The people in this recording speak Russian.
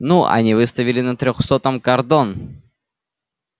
ну они выставили на трёхсотом кордон